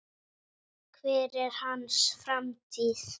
Hver er hans framtíð?